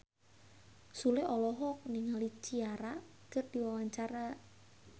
Sule olohok ningali Ciara keur diwawancara